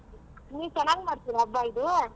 ನೀವ್ ಚೆನ್ನಾಗ ಮಾಡ್ತೀರಾ ಹಬ್ಬ ಇದು?